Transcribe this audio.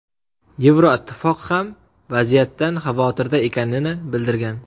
Yevroittifoq ham vaziyatdan xavotirda ekanini bildirgan.